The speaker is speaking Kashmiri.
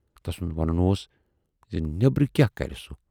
تسُند ونُن اوس زِ نٮ۪برٕ کیاہ کرِ سُہ؟